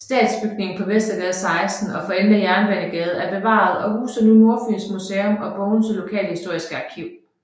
Stationsbygningen på Vestergade 16 for enden af Jernbanegade er bevaret og huser nu Nordfyns Museum og Bogense Lokalhistoriske Arkiv